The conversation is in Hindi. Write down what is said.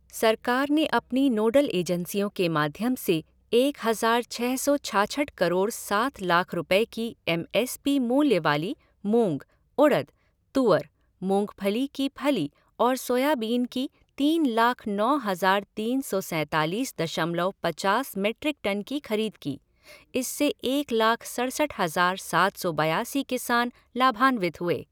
सरकार ने अपनी नोडल एजेंसियों के माध्यम से एक हज़ार छ सौ छाछठ करोड़ सात लाख रुपये की एम एस पी मूल्य वाली मूंग, उड़द, तूअर, मूंगफली की फली और सोयाबीन की तीन लाख नौ हज़ार तीन सौ सैंतालीस दशमलन पचास मीट्रिक टन की खरीद की, इससे एक लाख सड़सठ हज़ार सात सौ बयासी किसान लाभान्वित हुए